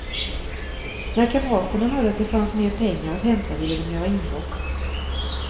När kamraterna hörde att det fanns mer pengar att hämta ville de göra inbrott.